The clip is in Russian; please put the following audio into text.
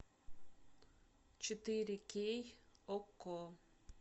четыре кей окко